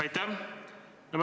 Aitäh!